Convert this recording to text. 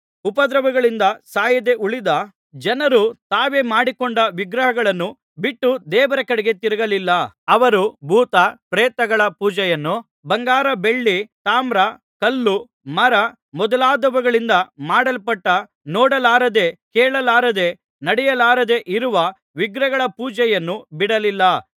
ಉಪದ್ರವಗಳಿಂದ ಸಾಯದೆ ಉಳಿದ ಜನರು ತಾವೇ ಮಾಡಿಕೊಂಡ ವಿಗ್ರಹಗಳನ್ನು ಬಿಟ್ಟು ದೇವರ ಕಡೆಗೆ ತಿರುಗಲಿಲ್ಲ ಅವರು ಭೂತ ಪ್ರೇತಗಳ ಪೂಜೆಯನ್ನೂ ಬಂಗಾರ ಬೆಳ್ಳಿ ತಾಮ್ರ ಕಲ್ಲು ಮರ ಮೊದಲಾದವುಗಳಿಂದ ಮಾಡಲ್ಪಟ್ಟ ನೋಡಲಾರದೆ ಕೇಳಲಾರದೆ ನಡೆಯಲಾರದೆ ಇರುವ ವಿಗ್ರಹಗಳ ಪೂಜೆಯನ್ನೂ ಬಿಡಲಿಲ್ಲ